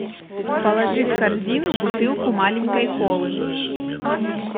положи в корзину бутылку маленькой колы